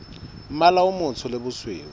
mmala o motsho le bosweu